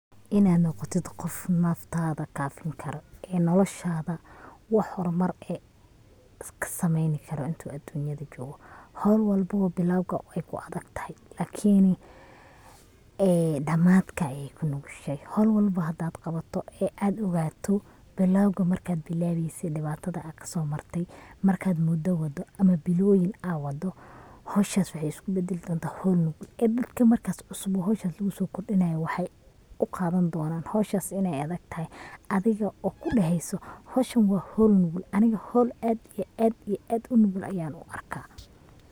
Inad noqotid qof naftada kaafin karo ee noloshada wax horumar eh iska sameeyni karo intu aduunyada jogo, howl walbobo way adagtahay lakini ee dhamaadka ayay kanugushahay, howl walbo hadad qabato ad ogaato bilawga markad bilaweyse dhibaatada ad kaso marte markad mudo waado ama biloyiin aa waado howshas waxay isku badali kartaa howl nugul ,ee dadka marka cusub oo howshan luguso kordinayo waxay u qaadan donan howshas inay adagtahay, adiga oo kudheheyso howshan waa howl nugul, aniga howl aad iyo aad iyo aad unugul ayan u arkaa.